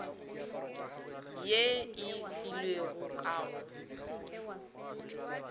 ye e filwego ka go